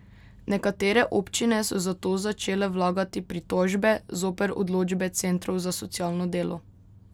Nekatere občine so zato začele vlagati pritožbe zoper odločbe centrov za socialno delo.